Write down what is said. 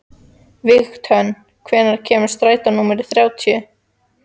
Vígdögg, hvenær kemur strætó númer þrjátíu?